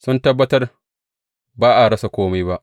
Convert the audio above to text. Sun tabbatar ba a rasa kome ba.